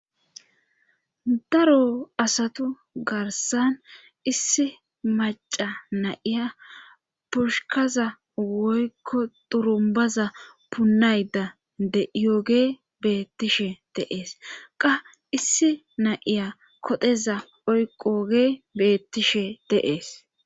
daro asatu garsan issi maca na7iya purshukaza woykko durumbaza punayda de7iyooge beettishe deees qa issi nayiya kodheza oyqoge beettishe deees